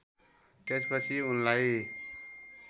त्यसपछि उनलाई